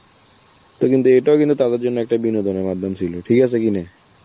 তো কিন্তু এটাও কিন্তু তাদের জন্য একটা বিনোদনের মাধ্যম ছিল, ঠিক আছে কিনা?